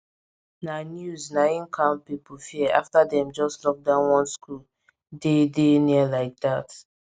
na news na im calm people fear after dem just lock down one school dey dey near like dat